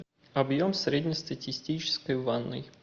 объем среднестатистической ванной